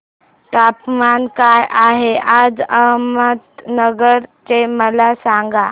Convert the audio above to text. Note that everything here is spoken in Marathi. तापमान काय आहे आज अहमदनगर चे मला सांगा